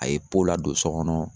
A ye pow ladon sɔ kɔnɔ